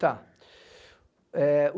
Tá. Eh